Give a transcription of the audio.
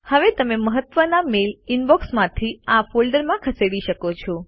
હવે તમે મહત્વના મેઈલ ઇનબૉક્સથી આ ફોલ્ડરમાં ખસેડી શકો છો